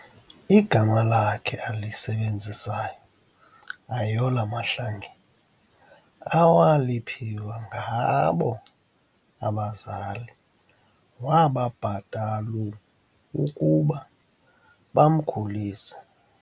igama lakhe alisebenzisayo ayola mahlangeni awaliphiwa ngabo bazali wababhatal ukuba bamkhulise